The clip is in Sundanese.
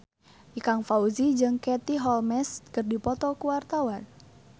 Ikang Fawzi jeung Katie Holmes keur dipoto ku wartawan